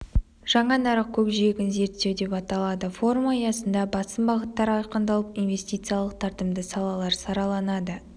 жаңа нарық көкжиегін зерттеу деп аталады форум аясында басым бағыттар айқындалып инвестициялық тартымды салалар сараланады